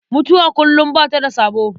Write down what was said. Mutuwa kullum ba ta da sabo.